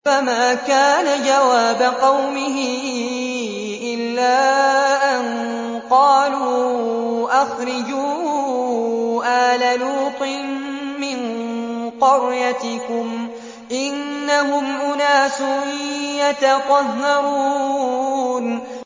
۞ فَمَا كَانَ جَوَابَ قَوْمِهِ إِلَّا أَن قَالُوا أَخْرِجُوا آلَ لُوطٍ مِّن قَرْيَتِكُمْ ۖ إِنَّهُمْ أُنَاسٌ يَتَطَهَّرُونَ